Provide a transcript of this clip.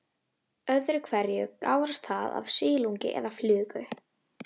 Öðru hverju gárast það af silungi eða flugu.